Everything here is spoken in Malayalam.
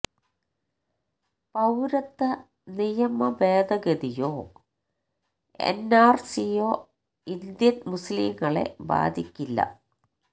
പൌരത്വ നിയമഭേദഗതിയോ എന് ആര് സിയോ ഇന്ത്യന് മുസ്ലിങ്ങളെ ബാധിക്കില്ല